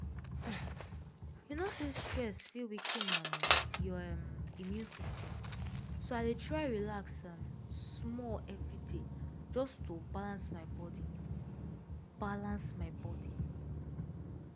you know say stress fit weaken um your um immune system so i dey try relax um small every day just to balance my body balance my body